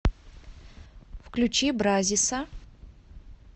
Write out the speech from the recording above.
включи бразиса